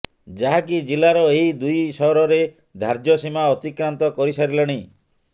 ଯାହାକି ଜିଲ୍ଲାର ଏହି ଦୁଇ ସହରରେ ଧାର୍ଯ୍ୟ ସୀମା ଅତିକ୍ରାନ୍ତ କରି ସାରିଲାଣି